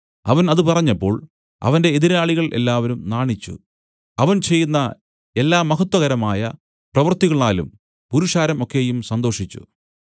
അവൻ ഇതു പറഞ്ഞപ്പോൾ അവന്റെ എതിരാളികൾ എല്ലാവരും നാണിച്ചു അവൻ ചെയ്യുന്ന എല്ലാ മഹത്വകരമായ പ്രവർത്തികളാലും പുരുഷാരം ഒക്കെയും സന്തോഷിച്ചു